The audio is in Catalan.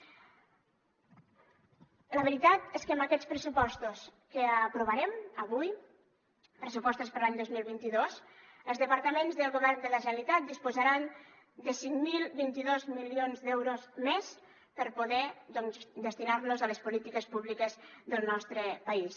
la veritat és que amb aquests pressupostos que aprovarem avui pressupostos per a l’any dos mil vint dos els departaments del govern de la generalitat disposaran de cinc mil vint dos milions d’euros més per poder destinar los a les polítiques públiques del nostre país